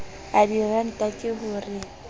a diranta ke ho re